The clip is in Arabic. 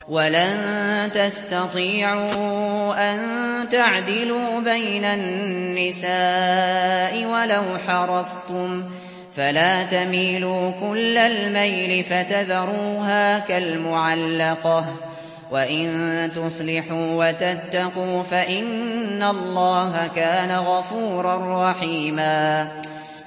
وَلَن تَسْتَطِيعُوا أَن تَعْدِلُوا بَيْنَ النِّسَاءِ وَلَوْ حَرَصْتُمْ ۖ فَلَا تَمِيلُوا كُلَّ الْمَيْلِ فَتَذَرُوهَا كَالْمُعَلَّقَةِ ۚ وَإِن تُصْلِحُوا وَتَتَّقُوا فَإِنَّ اللَّهَ كَانَ غَفُورًا رَّحِيمًا